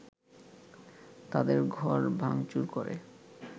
তাদের ঘর ভাংচুর করে